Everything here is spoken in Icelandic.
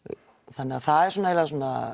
þannig að það er eiginlega svona